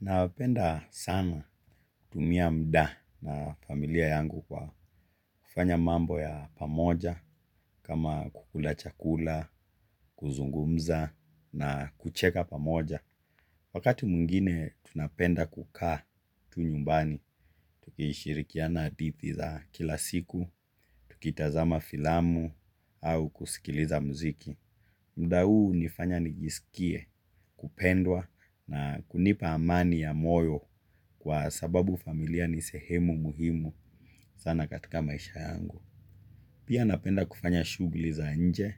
Nawapenda sana tumia muda na familia yangu kwa kufanya mambo ya pamoja kama kukula chakula, kuzungumza na kucheka pamoja. Wakati mwingine tunapenda kukaa tu nyumbani, tukishirikiana hadithi za kila siku, tukitazama filamu au kusikiliza mziki. Muda huu hunifanya nijisikie kupendwa na kunipa amani ya moyo kwa sababu familia ni sehemu muhimu sana katika maisha yangu. Pia napenda kufanya shughuli za nje